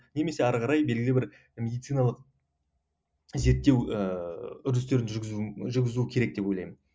немесе ары қарай белгілі бір медициналық зерттеу ііі үрдістерін жүргізу жүргізуі керек деп ойлаймын